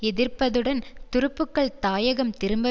எதிர்ப்பதுடன் துருப்புக்கள் தாயகம் திரும்ப